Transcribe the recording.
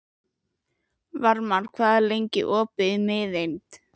Varmar, hvað er lengi opið í Miðeind?